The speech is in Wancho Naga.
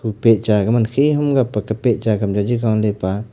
pehcha gaman khe hung ga pa ga pehcha kam cha ji gaale pa.